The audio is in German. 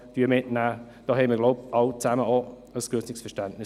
Wir kommen zu den Einzelsprechern.